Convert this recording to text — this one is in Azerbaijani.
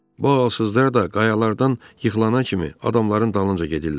Bu ağalsızlar da qayalardan yıxılana kimi adamların dalınca gedirlər.